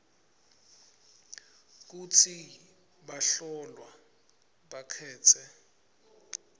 kutsi bahlolwa bakhetse